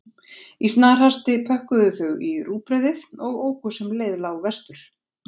Í snarhasti pökkuðu þau í rúgbrauðið og óku sem leið lá vestur.